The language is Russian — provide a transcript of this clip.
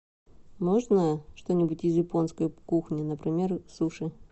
можно что нибудь из японской кухни например суши